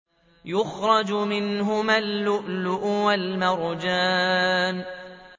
يَخْرُجُ مِنْهُمَا اللُّؤْلُؤُ وَالْمَرْجَانُ